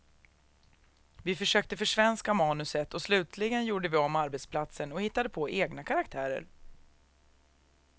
Vi försökte försvenska manuset, och slutligen gjorde vi om arbetsplatsen och hittade på egna karaktärer.